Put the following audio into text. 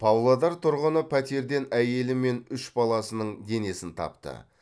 павлодар тұрғыны пәтерден әйелі мен үш баласының денесін тапты